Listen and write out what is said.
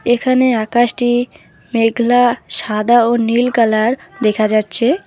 এখানে আকাশটি মেঘলা সাদা ও নীল কালার দেখা যাচ্ছে।